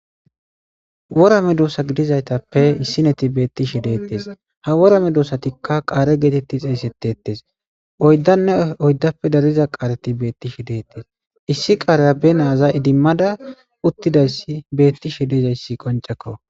Worame duossa gidizaytappe issineti beettishi dettes ha worame duossatikka qaare geetetti xeesetettes oyddanne oyddappe dariza qaareti beettishi deettes issi qaareyabe naaza idimmada uttidayssi beettishe dezayssi qoncekko.